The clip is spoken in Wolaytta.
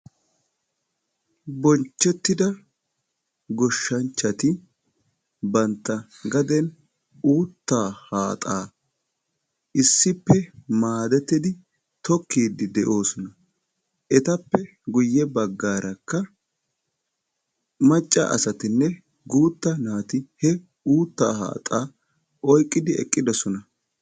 Bonchchettida goshshanchchati bantta gaden uuttaa haaxaa issippe maadettidi tokkiiddi de'oosona. Etappe guyye baggaarakka macca asatinne guutta naati he uuttaa haaxaa oyqqidi eqqidosona.